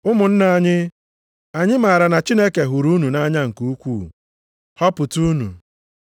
Ụmụnna anyị, anyị maara na Chineke hụrụ unu nʼanya nke ukwuu, họpụta unu.